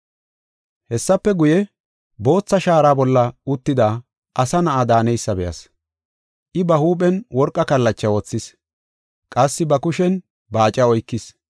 Hessafe guye, bootha shaara bolla uttida Asa Na7a daaneysa be7as. I ba huuphen worqa kallacha wothis; qassi ba kushen baaca oykis.